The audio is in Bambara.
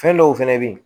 Fɛn dɔw fɛnɛ bɛ yen